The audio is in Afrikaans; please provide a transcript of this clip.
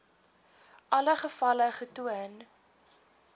alle gevalle getoon